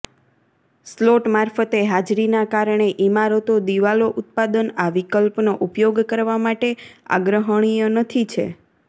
slot મારફતે હાજરીના કારણે ઇમારતો દિવાલો ઉત્પાદન આ વિકલ્પનો ઉપયોગ કરવા માટે આગ્રહણીય નથી છે